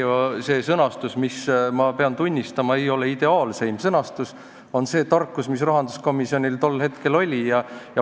See sõnastus, mis, ma pean tunnistama, ei ole ideaalne, kajastab seda tarkust, mis rahanduskomisjonis tol hetkel oli.